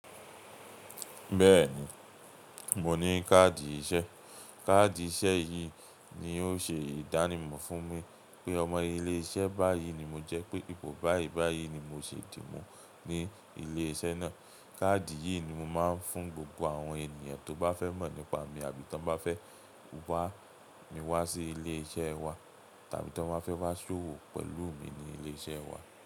Bẹ́ẹ̀ni, mo ní káàdì iṣẹ́. Káàdì iṣẹ́ yìí ni ó ṣe ìdánimọ̀ fún mi pé ọmọ ilé-iṣẹ́ báyìí ni mo jẹ́, pé ipò báyìí báyìí ni mo sì dì mú ní ilé-iṣẹ́ náà. Káàdì yìí ni mo máa ń fún gbogbo àwọn ènìyàn tó bá fẹ́ mọ̀ nípa mi àbí tó bá fẹ́ wàá mi wá sí ilé-iṣẹ́ wa tàbí tó bán fẹ́ wá ṣòwò pẹ̀lú mi ní ilé-iṣẹ́ wa.